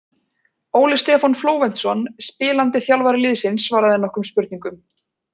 Óli Stefán Flóventsson spilandi þjálfari liðsins svaraði nokkrum spurningum.